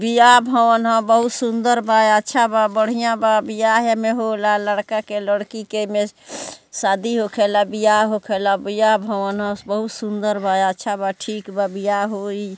ब्याह भवन हअ बहुत सुंदर बा बहुत अच्छा बा बढ़िया बा ब्याह में एमे होला लड़का के लड़की के एमे शादी होखेला ब्याह होखेला ब्याह भवन हअ बहुत-सुंदर बा अच्छा बा ठीक बा ब्याह होई।